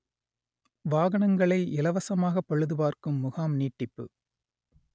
வாகனங்களை இலவசமாக பழுது பார்க்கும் முகாம் நீட்டிப்பு